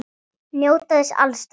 Njóta þess alls.